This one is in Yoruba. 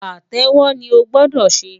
Pàtẹ́wọ́ ni o gbọ́dọ̀ ṣe!